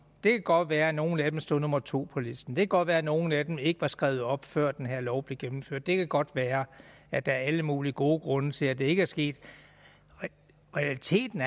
det kan godt være at nogle af dem stod nummer to på listen det kan godt være at nogle af dem ikke var skrevet op før den her lov blev gennemført det kan godt være at der er alle mulige gode grunde til at det ikke er sket realiteten